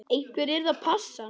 Einhver yrði að passa hann.